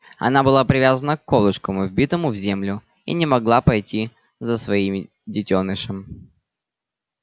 она была привязана к колышку вбитому в землю и не могла пойти за своими детёнышем